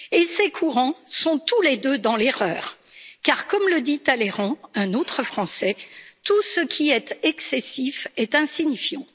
Ces courants sont tous les deux dans l'erreur, car, comme le dit Talleyrand, un autre Français, tout ce qui est excessif est insignifiant.